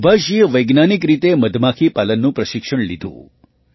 સુભાષજીએ વૈજ્ઞાનિક રીતે મધમાખીપાલનનું પ્રશિક્ષણ લીધું